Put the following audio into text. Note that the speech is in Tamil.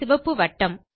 சிவப்பு வட்டம்